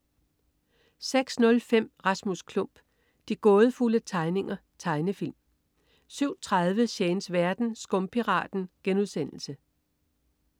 06.05 Rasmus Klump. De gådefulde tegninger. Tegnefilm 07.30 Shanes verden. Skumpiraten*